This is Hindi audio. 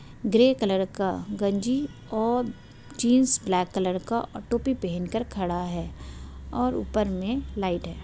ग्रे कलर का गंजी और जीन्स ब्लैक कलर का और टोपी पेहेन कर खड़ा है और ऊपर में लाइट है।